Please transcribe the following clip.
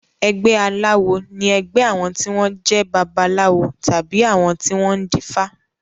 Ẹgbé aláwo ní ẹgbé àwọn tí wọ́n jẹ́ babaláwo tàbí àwọn tí wọ́n dífá.